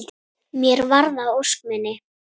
Mér varð að ósk minni.